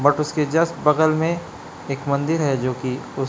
और उसके जस्ट बगल में एक मंदिर है जोकि--